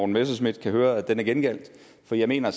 messerschmidt kan høre at den er gengældt for jeg mener